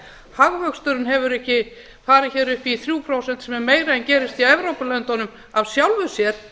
hagvöxturinn hefur ekki farið upp í þrjú prósent sem er meira en gerist í evrópulöndunum af sjálfu sér